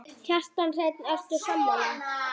Kjartan Hreinn: Og ertu sammála?